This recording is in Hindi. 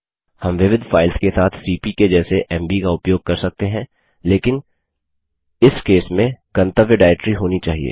हम विविध फाइल्स के साथ सीपी के जैसे एमवी का उपयोग कर सकते हैं लेकिन इस केस में गंतव्य डाइरेक्टरी होना चाहिए